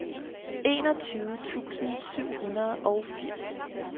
enogtyve tusind syv hundrede og firs